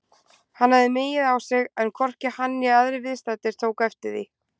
Hann hafði migið á sig en hvorki hann né aðrir viðstaddir tóku eftir því.